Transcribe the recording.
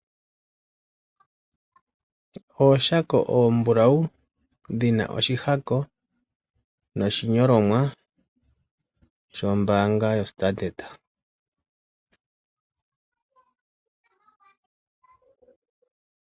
Ooshako oombulawu dhina oshihako noshinyolomwa shombaanga yoStandard.